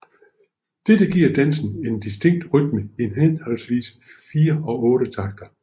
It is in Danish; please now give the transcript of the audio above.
Dette giver dansen en distinkt rytme i henholdsvis 4 og otte takter